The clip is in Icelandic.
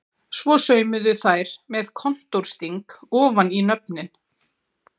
Svo saumuðu þær með kontórsting ofan í nöfnin.